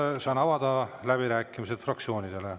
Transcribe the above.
Nüüd saan avada läbirääkimised fraktsioonidele.